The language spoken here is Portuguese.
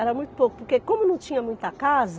Era muito pouco, porque como não tinha muita casa,